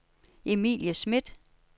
Emilie Smidt